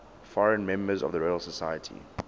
foreign members of the royal society